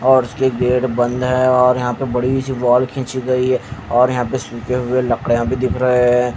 और ये गेट बंद है और यहां पे बड़ी सी वॉल खींची गई है और यहां सूखे हुए लकड़ियां भी दिख रहे हैं।